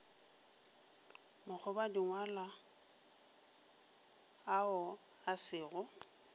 makgobadingwalo ao a se go